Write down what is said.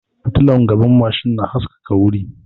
Fitilar gaban mashin na haskaka wuri